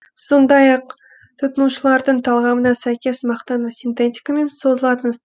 сондай ақ тұтынушылардың талғамына сәйкес мақтаны синтетикамен созылатын